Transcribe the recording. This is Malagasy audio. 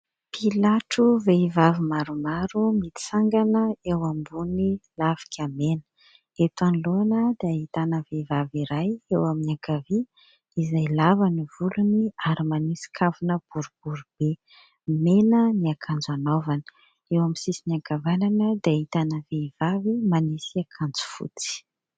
Pilatro vehivavy maromaro mitsangana eo ambony lafika mena. Eto anoloana dia ahitana vehivavy iray eo amin'ny ankavia izay lava ny volony ary manisy kavina boribory be, mena ny akanjo anaovany ; eo amin'ny sisiny ankavanana dia ahitana vehivavy manisy akanjo fotsy